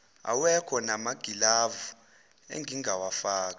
awekho namagilavu engingawafaka